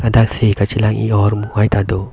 ladak se kache lang ih hormu hai ta do.